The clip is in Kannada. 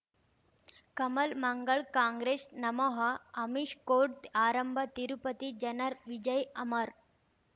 ಕಮಲ್ ಮಂಗಳ್ ಕಾಂಗ್ರೆಸ್ ನಮಃ ಅಮಿಷ್ ಕೋರ್ಟ್ ಆರಂಭ ತಿರುಪತಿ ಜನರ್ ವಿಜಯ್ ಅಮರ್